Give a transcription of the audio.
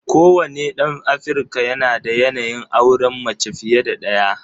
Kowane ɗan Afirka yanada yanayin auren mace fiye da ɗaya.